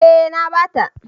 Eh na bata.